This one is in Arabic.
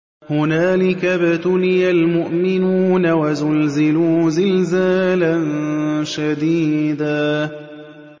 هُنَالِكَ ابْتُلِيَ الْمُؤْمِنُونَ وَزُلْزِلُوا زِلْزَالًا شَدِيدًا